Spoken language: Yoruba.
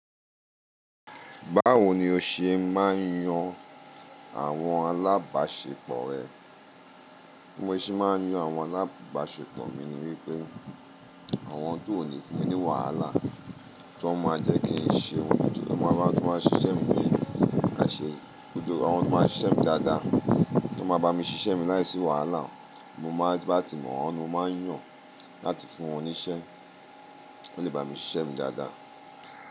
Báwo ni o ṣe máa ń yan àwọn alábàṣepọ̀ rẹ? Bí mo ṣe máa ń yan àwọn alábàṣepọ̀ mi ni wípé àwọn ti ò ní fún mi ní wàhálà, tó máa jẹ́ kí n ṣe ohun gbogbo tó bá tún máa ṣiṣẹ́ mi léye aṣẹ gbogbo. Àwọn tó máa ṣiṣẹ́ mi dáadáa, tó máa bá mi ṣiṣẹ́ mi láìsí wàhálà. Àwọn tó bá ti mọ̀wọ́n ni mo má ń yàn láti fún wọn níṣẹ́, kí wọ́n lè bá mi ṣiṣẹ́ mi dáadáa.